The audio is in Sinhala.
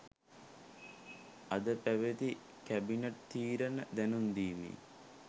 අද පැවති කැබිනට් තීරණ දැනුම්දීමේ